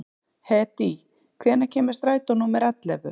Hedí, hvenær kemur strætó númer ellefu?